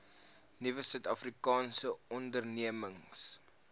nuwe suidafrikaanse ondernemings